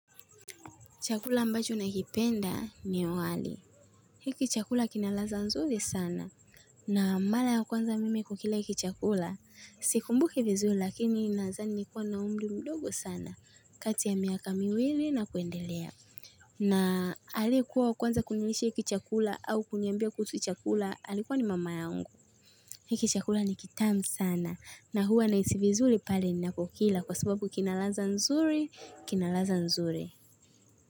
Chakula ambacho nakipenda ni wali. Hiki chakula kina ladha nzuri sana. Na mara ya kwanza mimi kukila hiki chakula. Sikumbuki vizuri lakini nadhani nilikuwa na umri mdogo sana kati ya miaka miwili na kuendelea. Na aliyekuwa wa kwanza kunilisha hiki chakula au kuniambia kuhusu hiki chakula alikuwa ni mama ya yangu. Hiki chakula ni kitamu sana na huwa na hisi vizuri pale ninapokila kwa sababu kinaladha nzuri,